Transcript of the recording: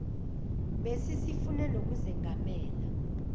besi sifune nokuzengamela